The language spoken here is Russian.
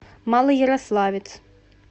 малоярославец